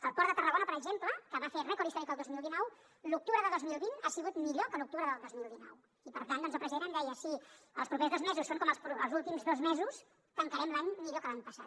el port de tarragona per exemple que va fer rècord històric el dos mil dinou l’octubre de dos mil vint ha sigut millor que l’octubre del dos mil dinou i per tant doncs el president em deia si els propers dos mesos són com els últims dos mesos tancarem l’any millor que l’any passat